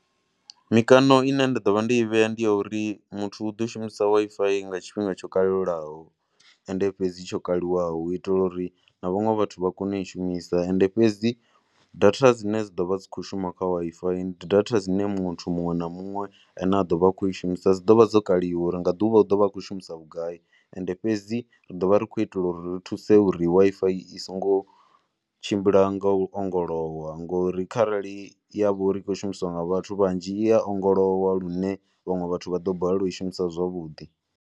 Mikano ine nda ḓo vha ndi i vhea ndi ya uri muthu u ḓo shumisa Wi-Fi nga tshifhinga tsho kalulaho and fhedzi tsho kaliwaho u itela uri na vhaṅe vhathu vha kone u i shumisa. And fhedzi data dzine dza ḓo vha dzi tshi khou shuma kha Wi-Fi ndi data dzine muthu muṅwe na muṅwe a ne a ḓo vha a khou i shumisa dzi ḓo vha dzo kaliwa nga ḓuvha u ḓo vha a tshi khou shumisa vhugai. And fhedzi ri ḓo vha ri khou itela uri ri thuse uri Wi-Fi i songo tshimbila nga u ongolowa ngori kharali ya vha uri i khou shumiswa nga vhathu vhanzhi i ya ongolowa lune vhaṅwe vhathu vha ḓo balelwa u i shumisa zwavhuḓi.